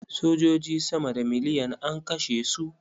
Sojoji sama da miliyan an kashe su.